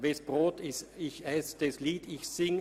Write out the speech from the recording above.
«Wes Brot ich ess‘, des Lied ich sing.